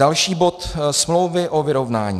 Další bod - smlouvy o vyrovnání.